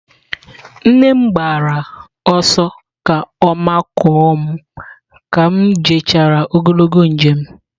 Nne m gbara ọsọ ka ọ makụọ m ka m jechara ogologo njem.